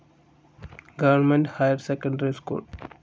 Government higher secondary school.